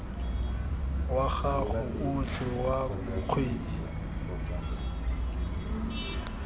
wa gago otlhe wa kgwedi